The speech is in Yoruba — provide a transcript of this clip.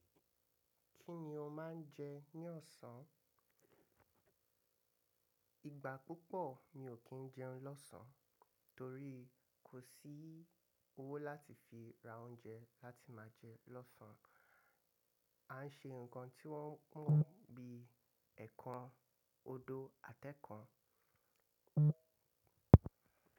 Kí ni o máa ń jẹ ní ọ̀sán? Ìgbà púpọ̀ mi ò kí ń jẹun lọ́sàn-án torí kò sí owó láti fi ra oúnjẹ láti máa jẹ lọ́sán. A ń ṣe nǹkan tí wọ́n mọ̀ bíi ẹ̀kan, odó àtẹ́kan.